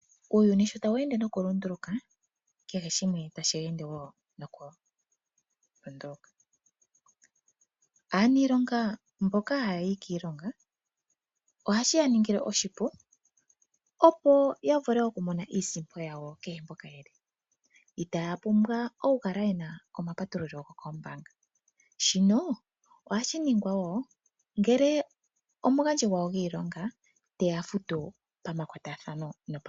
Uuyuni sho tawu ende nokulunduluka kehe shimwe otashi ende wo nokulunduluka. Aaniilonga mboka haya yi kiilonga ohashi yaningile oshipu opo yavule okumona iisimpo yawo kehe mpoka yeli itaya pumbwa okukala yena omapatululo gokoombaanga, shino ohashi ningwa wo ngele omugandji gawo gwiilonga teya futu pamakwatathano.